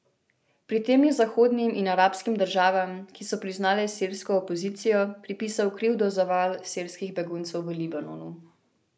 Pri tem je zahodnim in arabskim državam, ki so priznale sirsko opozicijo, pripisal krivdo za val sirskih beguncev v Libanonu.